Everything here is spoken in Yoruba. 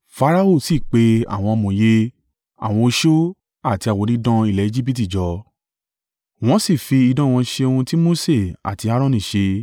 Farao sì pe àwọn amòye, àwọn oṣó àti àwọn onídán ilẹ̀ Ejibiti jọ, wọ́n sì fi idán wọn ṣe ohun tí Mose àti Aaroni ṣe.